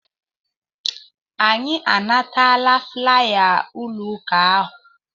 Anyị anatala flaya ụlọ ụka ahụ.